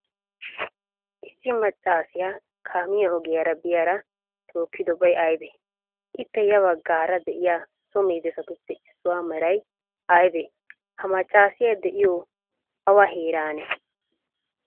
issi maccasiya kaamiyaa oogiyara biyyaara tokkidobay aybee? ippe ya baggara de7iya so medoossattuppe issuwaa meraay aybee? ha maccaasiya de7iyoy awa heeraanne?